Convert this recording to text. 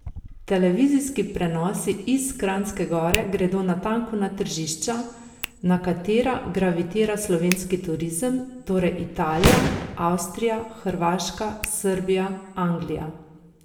Televizijski prenosi iz Kranjske Gore gredo natanko na tržišča, na katera gravitira slovenski turizem, torej Italija, Avstrija, Hrvaška, Srbija, Anglija.